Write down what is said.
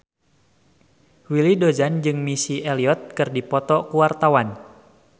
Willy Dozan jeung Missy Elliott keur dipoto ku wartawan